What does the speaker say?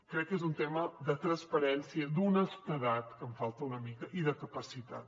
crec que és un tema de transparència d’honestedat que en falta una mica i de capacitat